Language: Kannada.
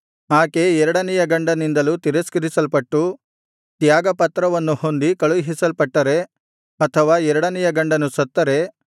ಆಕೆ ಎರಡನೆಯ ಗಂಡನಿಂದಲೂ ತಿರಸ್ಕರಿಸಲ್ಪಟ್ಟು ತ್ಯಾಗಪತ್ರವನ್ನು ಹೊಂದಿ ಕಳುಹಿಸಲ್ಪಟ್ಟರೆ ಅಥವಾ ಎರಡನೆಯ ಗಂಡನು ಸತ್ತರೆ